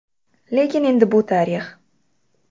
Lekin endi bu tarix.